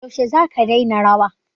Yaushe za ka daina rawa?